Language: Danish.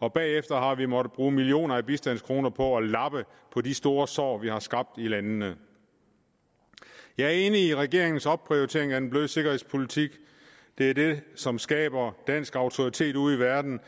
og bagefter har vi måttet bruge millioner af bistandskroner på at lappe på de store sår vi har skabt i landene jeg er enig i regeringens opprioritering af den bløde sikkerhedspolitik det er det som skaber dansk autoritet ude i verden